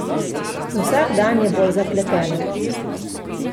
Vsak dan je bolj zapleteno.